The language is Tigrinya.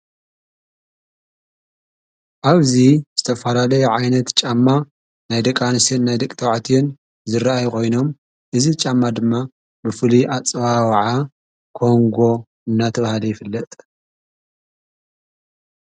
ኣብዙይ ዝተፋላለየ ዓይነት ጫማ ናይ ደቂ ኣንስትዮ ናይ ደቂ ተባዕትዮን ዝረአይ ኾይኖም እዝ ጫማ ድማ ብፍሉይ ኣፅዋወዓ ኮንጎ እናተብሃለ ይፍለጥ